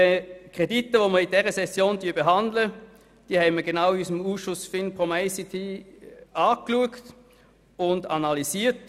Die Kredite, die wir in dieser Session behandeln, haben wir in unserem Ausschuss FIN-POM-ICT genau angeschaut und analysiert.